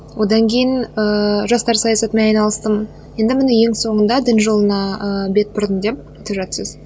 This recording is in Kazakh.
одан кейін ыыы жастар саясатымен айналыстым енді міне ең соңында дін жолына ыыы бет бұрдым деп айтып жатырсыз